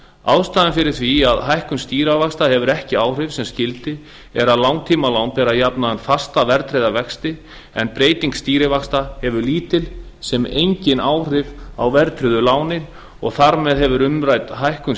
ástæðan fyrir því að hækkun stýrivaxta hefur ekki áhrif sem skyldi er að langtímalán bera jafnan fasta verðtryggða vexti en breyting stýrivaxta hefur lítil sem engin áhrif á verðtryggðu lánin og þar með hefur umrædd hækkun